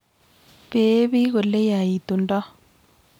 Pee piik oleyaitundoi